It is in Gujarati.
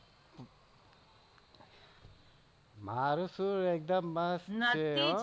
મારુ સુર એકદમ માસ્ટ છ હો.